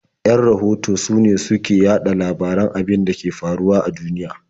Yan rahoto sune su ke yaɗa labaran abin da ke faruwa a duniya.